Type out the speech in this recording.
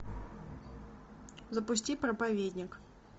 запусти проповедник